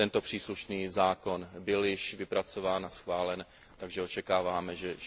Příslušný zákon byl již vypracován a schválen, takže očekáváme, že